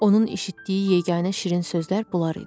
Onun eşitdiyi yeganə şirin sözlər bunlar idi.